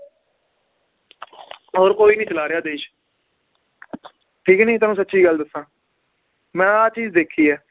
ਹੋਰ ਕੋਈ ਨੀ ਚਲਾ ਰਿਹਾ ਦੇਸ਼ ਠੀਕ ਨੀ ਤੁਹਾਨੂੰ ਸਚੀ ਗੱਲ ਦੱਸਾਂ, ਮੈ ਆਹ ਚੀਜ਼ ਦੇਖੀ ਏ